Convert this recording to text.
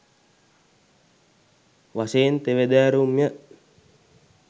වශයෙන් තෙවැදෑරුම් ය.